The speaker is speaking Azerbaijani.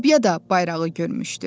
Lobyada bayrağı görmüşdü.